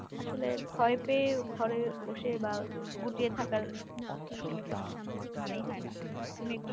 আসলে ভয় পেয়ে ঘরে বসে বা গুটিয়ে থাকার আসলে কোনো মানেই হয় না। তুমি একটু